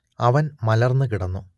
അവൻ മലർന്നു കിടന്നു